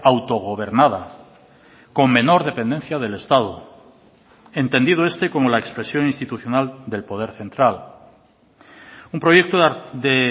autogobernada con menor dependencia del estado entendido este como la expresión institucional del poder central un proyecto de